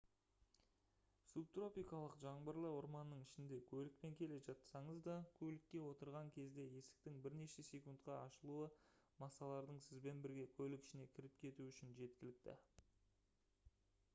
субтропикалық жаңбырлы орманның ішінде көлікпен келе жатсаңыз да көлікке отырған кезде есіктің бірнеше секундқа ашылуы масалардың сізбен бірге көлік ішіне кіріп кетуі үшін жеткілікті